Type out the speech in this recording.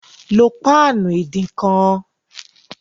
Lo páànù ìdínkan!